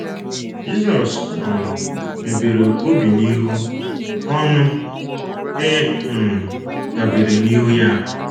Jisọs um mebere obi n’ihi ọṅụ e um debere n’ihu ya